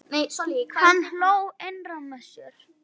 Hann hló innra með sér.